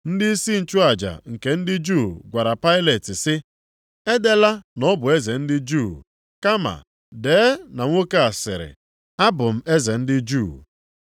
Ndịisi nchụaja nke ndị Juu gwara Pailet sị, “Edela na ọ bụ Eze ndị Juu, kama dee na nwoke a sịrị, abụ m eze ndị Juu.”